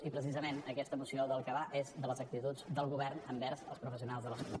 i precisament aquesta moció del que va és de les actituds del govern envers els professionals de la salut